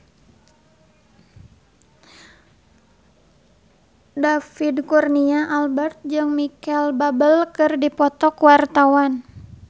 David Kurnia Albert jeung Micheal Bubble keur dipoto ku wartawan